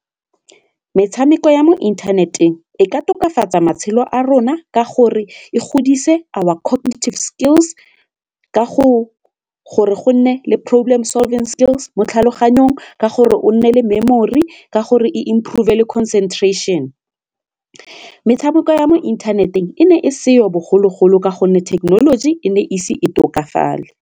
Metshameko ya mo inthaneteng e ka tokafatsa matshelo a rona ka gore e godise our cognitive skills ka gore go nne le problem solving skills mo tlhaloganyong, ka gore o nne le memory, ka gore e improve le ka concentration. Metshameko ya mo inthaneteng e ne e seyo bogologolo ka gonne thekenoloji e ne e ise e tokafale.